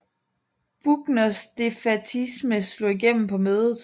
Buckners defaitisme slog igennem på mødet